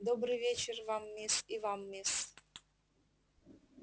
добрый вечер вам мисс и вам мисс